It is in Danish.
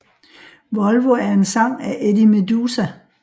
Volvo er en sang af Eddie Meduza